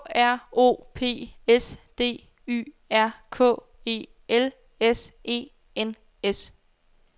K R O P S D Y R K E L S E N S